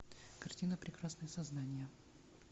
картина прекрасные создания